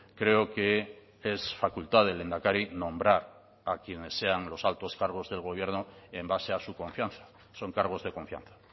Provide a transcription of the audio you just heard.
creo que es facultad del lehendakari nombrar a quienes sean los altos cargos del gobierno en base a su confianza son cargos de confianza